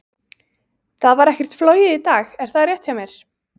Það var ekkert flogið í dag, er það rétt hjá mér?